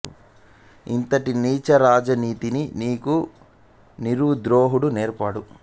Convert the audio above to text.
ఇంటటి నీచ రాజ నీతిని నీకు నీరువు ద్రోణుడు నేర్పాడా